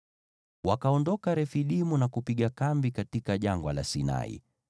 Wakaondoka Refidimu na kupiga kambi katika Jangwa la Sinai.